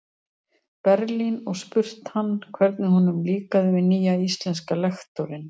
Berlín og spurt hann, hvernig honum líkaði við nýja íslenska lektorinn.